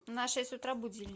на шесть утра будильник